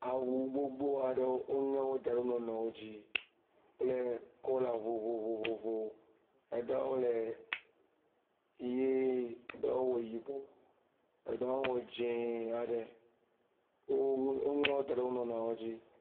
Awu gbogbo aɖewo, woŋe wo da ɖe wonuiwo dzi kple kɔla vovovowo. Eɖewo le ʋie, ɖewo wɔ yibɔ, eɖewo wɔ dzɛ̃e aɖe. Woŋlɔ wo da ɖe wonuiwo dzi.